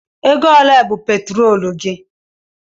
Ego ole bụ petrolu di?